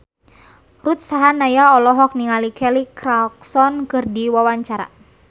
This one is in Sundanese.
Ruth Sahanaya olohok ningali Kelly Clarkson keur diwawancara